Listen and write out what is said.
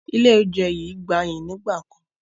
Ilé oúnjẹ yìí gbayyi nígbàkan